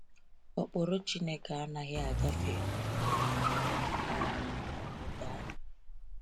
Ụkpụrụ Chineke anaghị agafe um ma um ọ bụ daa.